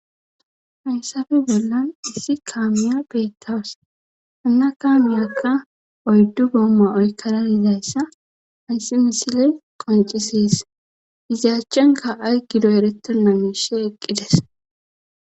hayssafe bollan issi kaamiya beettaws annakka miakka oyddu boomma oykkara dizayssa hayssi misiley qoncisees izayachchenka ay gido erettonna miishe eqqides